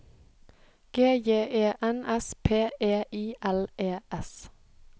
G J E N S P E I L E S